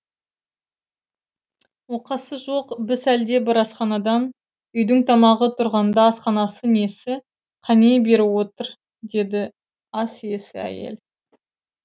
оқасы жоқ біз әлде бір асханадан үйдің тамағы тұрғанда асханасы несі қане бері отыр деді ас иесі әйел